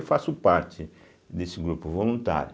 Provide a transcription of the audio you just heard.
Eu faço parte desse grupo voluntário.